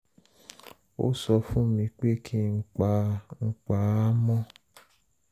ó sọ fún mi pé kí n pa n pa á mọ́